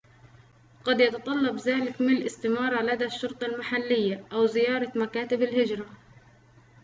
قد يتطلّب ذلك مِلء استمارة لدى الشرطة المحلية أو زيارة مكاتبَ الهجرة